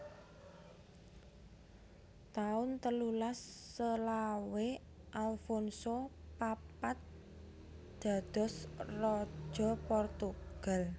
taun telulas selawe Alfonso papat dados Raja Portugal